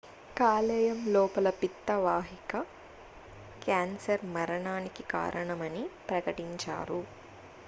కాలేయం లోపల పిత్త వాహిక క్యాన్సర్ మరణానికి కారణమని ప్రకటించారు